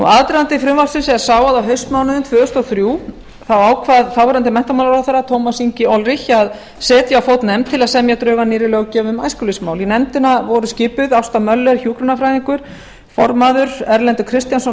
aðdragandi frumvarpsins er sá að á haustmánuðum árið tvö þúsund og þrjú ákvað þáverandi menntamálaráðherra tómas ingi olrich að setja á fót nefnd til að semja drög að nýrri löggjöf um æskulýðsmál í nefndina voru skipuð ásta möller hjúkrunarfræðingur formaður erlendur kristjánsson